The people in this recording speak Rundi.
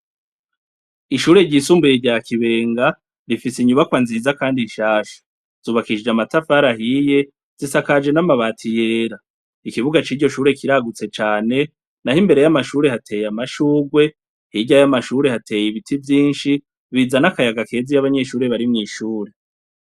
Ishure ryisumbuye rya Kibenga rifise inyubakwa nziza kandi nshasha. Zubakishije amatafari ahiye, zisakaje n'amabati yera. Ikibuga ciryo shure kiragutse cane, n'aho imbere y'amashure hateye amashugwe, hirya y'amashure hateye ibiti vyinshi bizana akayaga keza iyo abanyeshure bari mw'ishure.